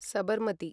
Sabarmati